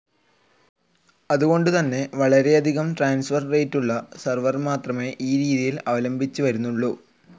അതുകൊണ്ട് തന്നെ വളരെയധികം ട്രാൻസ്ഫർ റേറ്റുള്ള സെർവർ മാത്രമേ ഈ രീതി അവലംബിച്ച് വരുന്നുള്ളൂ.